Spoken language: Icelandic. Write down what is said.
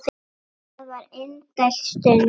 Það var indæl stund.